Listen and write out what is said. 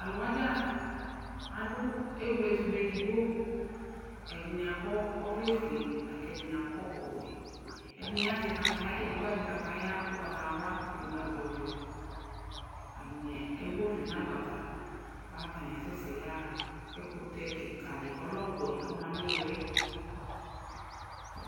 t'alò wa dza adu ewle ɛto edigbo ɛdini akɔ ɔvlɛ fue la k'ɛdini akɔ ɔwɛ ɛdini azɛ kataya edigbo azɛ kataya ugbata wla k'edigbo azɛ ɔvɛ atani ewu ɔvlɛ n'agbata k'atani asɛ sɛ ya ɣa k'ɛkutɛ keka di k'ɔlɛ ɔwɛ ɔma n'ilili.